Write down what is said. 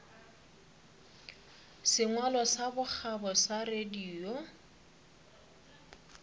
sengwalo sa bokgabo sa radio